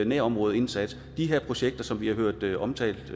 nærområdeindsats de her projekter som vi har hørt omtalt